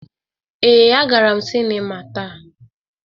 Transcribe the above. Ee, agara m sịnịma taa.